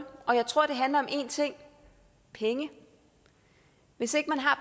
og jeg tror det handler om én ting penge hvis ikke man har